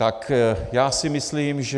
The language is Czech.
Tak já si myslím, že...